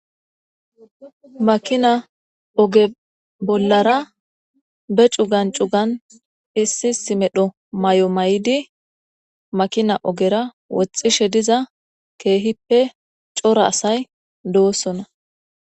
makina oge bollara be cugan cugan issi issi medho may7o may7idi makina ogera woxxishe diza keehippe cora asay doossona